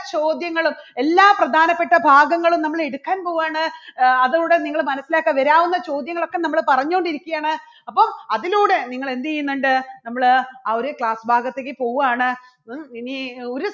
ചോദ്യങ്ങളും എല്ലാ പ്രധാനപ്പെട്ട ഭാഗങ്ങളും നമ്മള് എടുക്കാൻ പോവാണ് അഹ് അതോടെ നിങ്ങൾ മനസ്സിലാക്കുക വരാവുന്ന ചോദ്യങ്ങളൊക്കെ നമ്മൾ പറഞ്ഞോണ്ടിരിക്കയാണ് അപ്പോൾ അതിലൂടെ നിങ്ങൾ എന്ത് ചെയ്യുന്നുണ്ട് നമ്മള് ആ ഒരു class ഭാഗത്തേക്ക് പോവാണ് ഇനി ഒരു